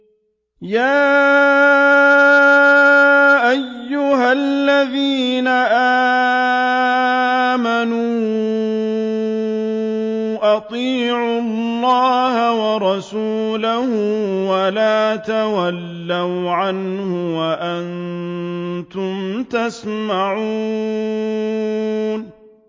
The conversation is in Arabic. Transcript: يَا أَيُّهَا الَّذِينَ آمَنُوا أَطِيعُوا اللَّهَ وَرَسُولَهُ وَلَا تَوَلَّوْا عَنْهُ وَأَنتُمْ تَسْمَعُونَ